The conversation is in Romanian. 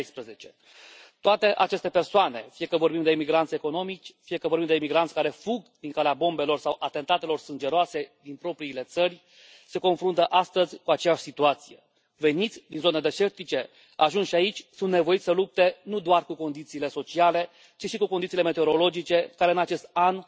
2016. Toate aceste persoane, fie că vorbim de migranți economici, fie că vorbim de migranți care fug din calea bombelor sau atentatelor sângeroase din propriile țări, se confruntă astăzi cu aceeași situație veniți din zone deșertice, ajunși aici, sunt nevoiți să lupte nu doar cu condițiile sociale și cu condițiile meteorologice care în acest an